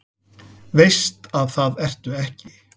Veist að það ertu ekki.